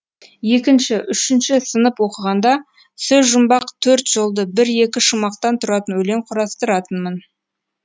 екінші үшінші сынып оқығанда сөзжұмбақ төрт жолды бір екі шумақтан тұратын өлең құрастыратынмын